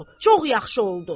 Çox yaxşı oldu.